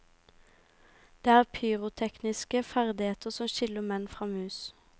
Det er de pyrotekniske ferdigheter som skiller menn fra mus.